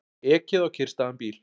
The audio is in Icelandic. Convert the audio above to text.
Ekið á kyrrstæðan bíl